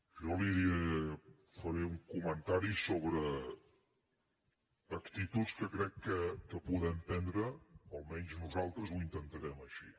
jo li faré un comentari sobre actituds que crec que podem prendre almenys nosaltres ho intentarem així